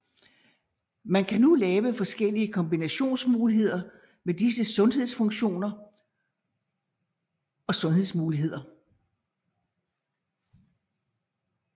Man kan nu lave forskellige kombinationsmuligheder med disse sandhedsfunktioner og sandhedsmuligheder